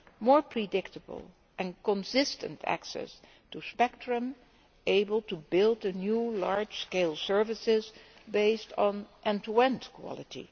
more predictable and consistent access to spectrum, able to build a new large scale services based on end to end quality.